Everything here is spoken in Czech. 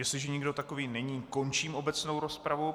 Jestliže nikdo takový není, končím obecnou rozpravu.